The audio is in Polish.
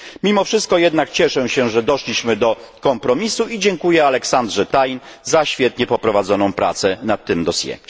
Mimo wszystko cieszę się, że doszliśmy do kompromisu i dziękuję Alexandrze Thein za świetnie poprowadzoną pracę nad tym dossier